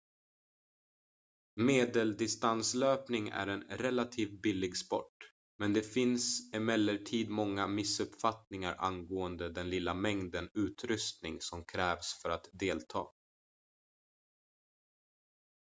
medeldistanslöpning är en relativt billig sport men det finns emellertid många missuppfattningar angående den lilla mängden utrustning som krävs för att delta